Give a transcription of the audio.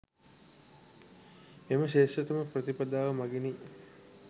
මෙම ශ්‍රේෂ්ඨතම ප්‍රතිපදාව මගිනි.